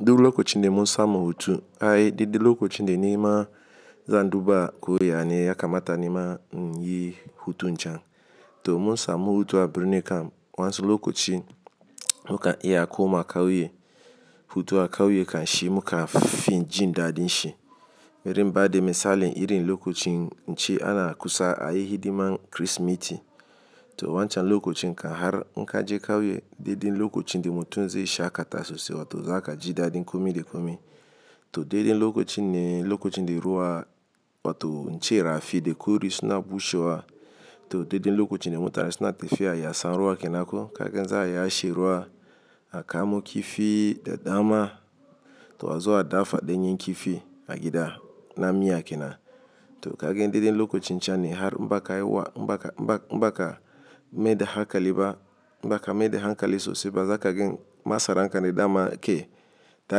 Duk lokacin da mun samu hutu, ai, daɗe lokacin da nima zan duba ko ya ne ya kamata nima in yi hutu can. To mun samu hutu a Birnin Kano. Wancan lokacin muka iya koma kauye. Hutu a kauye kan shi muka fi jin daɗin shi. Irin baɗi misalin irin lokacin ce ana kusa a yi hidiman Kirsimeti. To wancan lokacin kan har muka je kauye, dai dai lokacin da mutum zai shaƙta sosai waton za ka ji daɗin kome da kome. To dai dai lokacin ne, lokacin da ruwa wato ince rafi da kore suna bushewa. To dai dai lokacin da mutane suna tafiya ya sa ruwa kenan ko. Kaga zai yashe ruwa a kamo kifi da dama. To a zo su dafa danyen kifi a gida na miya kenan. To kaga daɗe lokacin can ne har mbaka yi wa in baka in baka mai da hankakaliba in baka mai da hankali sosai ba. Za ka gan masaran kan da dama ke. Ta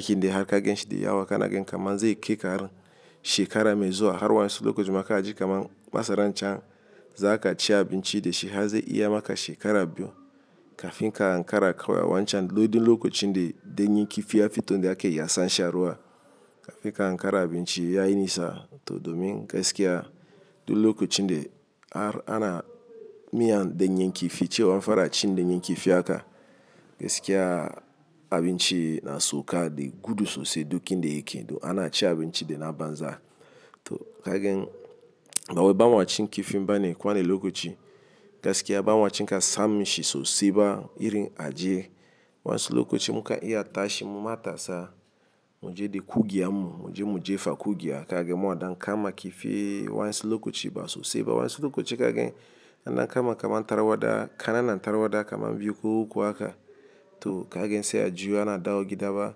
hanyar haka gen shi da yawa kana gan kamar zai kai kar shekara mai zuwa har wa'yansu lokacin muka ji kamar masaran can za ka ci abinci da shi har zai iya maka shekara biyu kafin ka hankara kawai. Wancan lokacin da nyenkifi ya fito, da aka yi yasan sha ruwa kafin ka hankara abinci ya yi nisa. To domin gaskiya duk lokacin da har ana miyan ɗanyen kifi cewa anfaracin ɗanyen kifi haka gaskiya abinci nasauka da gudu sosai duk inda yake don anacin abinci dana banza. To kaga, ba wai bamaci kifin bane ko wane lokaci. Gaskiya bamaci ka samin shi sosai ba. Irin ajiye wancan lokacin muka iya tashi mu matasa mu je da kugiyan mu. Mu je mujefa kugiya. Kaga mun wadan kama kifi wancan lokaci ba sosai ba. Wancan lokacin kaga ana kama kamar tarwaɗa, kana nan tarwaɗa kamar biyu ko uku haka. To kaga sai a juya ana dawo gida ba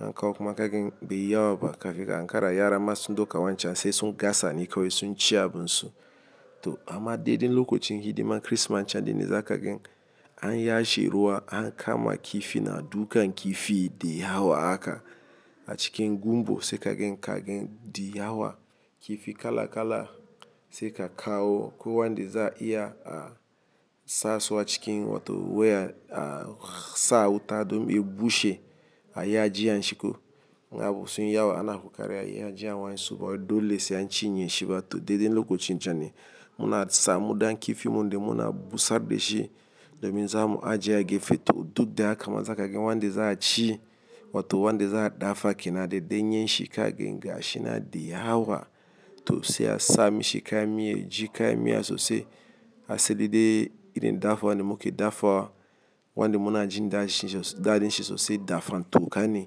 an kawo kuma kaga bai yi yawa ba kafin ka ankara yara masu doka wancan sai sun gasa ne kawai sun ci abunsu. To amma daɗe lokacin hidiman Kirsimeti can dai ne za ka gan an ya she ruwa an kama kifi na dukan kifi da yawa haka a cikin gumbo sai kaga kaga da yawa kifi kala kala sai ka kawo. Ko wan da za iya a sa su a cikin wato waya a sa wuta domin bushe a yi ajiya shiko. Na abun sun yi yawa ana kokarin a yi ajiya wan su ba wadolle sai an ci yin shi ba. To daɗe lokacin can ne muna sa mu dan kifi mun dai muna busar da shi domin za mu ajiye yake fito. Dudda ya kama za ka gan wan da za a ci wato wan da za a dafa kenan daɗe nyin shi kaga in ga shi na da yawa. To sai a sami shi kayan miya, ji kayan miya sosai. A sai da dai irin dafa wan mu ke dafawa wan da muna jin daɗin daɗin shi sosai dafan. To ka ne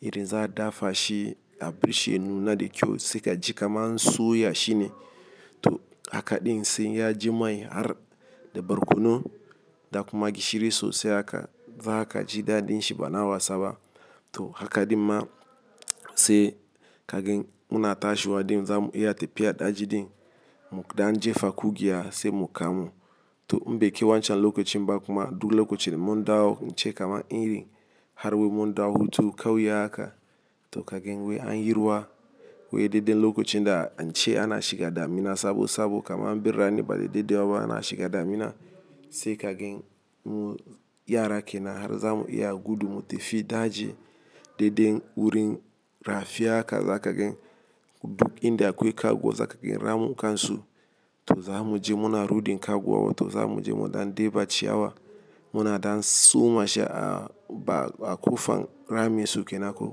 irin za a dafa shi a bishiya na da kyau sai ka ji kamar an soya shi ne. To hakaɗin sai ya ji mai har da barkono da kuma gishiri sosai haka. Za ka ji daɗin shi bana wasaba. To hakaɗin ma sai kaga mun a tashi waɗin za mu iya tafiya da jiɗin mu da an jefa kugiya sai mu kamu. To imbe ke wancan lokacin bakuma duk lokacin mun dawo ince kamar iri har wai mun dawo hutu kauye haka. To kaga wai an yi ruwa wai daɗe lokacin da nce ana shiga damina sabo sabo kamar birane ba daɗe wawa ana shiga damina. Sai kaga mu yara kenan har zamu iya gudu mu tafi daji daɗe wurin rafiya haka za kaga duk inda akwai kwaguwa za kaga ramun kan su. To za mu je mu na rudin kwaguwa wato za mu je mu dan ɗeba ciyawa. Muna dan soma shi a ba a kofan ramin su kenako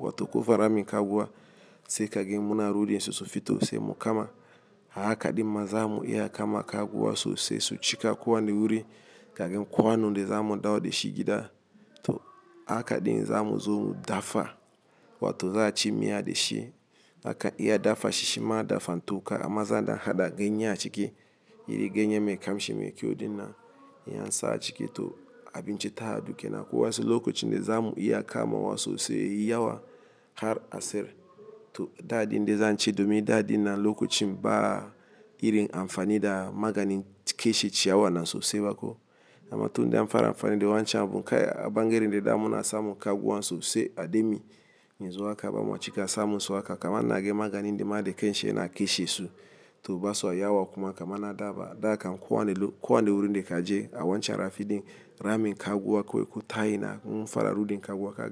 wato kofar ramin kwaguwa. Sai kaga muna rudin susu fito sai mu kama. Hakaɗin ma za mu iya kama kwaguwa sosai su cika kowani wuri. Kagan kowan nan da za mu dawo da shi gida. To hakaɗin za mu zo mu dafa wato za a ci miya da shi. Haka iya dafa shi shima dafan to ka amma za a dan haɗa ganye a ciki. Iri ganye mai kamshi mai kyau din nan in an sa a ciki to abinci ta haɗu kenan. Ko wasu lokacin dai za mu iya kama wa sosai yawa har a sayar. To daɗin da zan ce domin daɗin na lokacin ba irin amfani da maganin ƙeshe ciyawa na sosai ba ko. Amma tun da an fara amfani da wancan abun kai a ɓangaren da dai muna samun ƙwaguwa sosai a dai miya. Yanzu haka bamaci ka samu su haka kamar na gani maganin da maɗa ƙeshe yana ƙeshe su. To ba sa yawa kuma kamar na daba. Da kan kowan kowani wurin dai ka je a wancan rafiɗin ramin kwakwa akwai ko taya na mun fara rudin kwaguwa kaga.